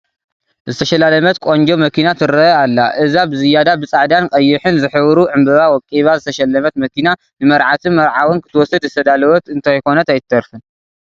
ዝተሸላለመት ቆንጆ መኪና ትርከ ኣላ፡፡ እዛ ብዝያዳ ብፃዕዳን ቀይሕን ዝሕብሩ ዕምበባ ወቂባ ዝተሸለመት መኪና ንመርዓትን መርዓውን ክትወስድ ዝተዳለወት እንተይኮነት ኣይትተርፍን፡፡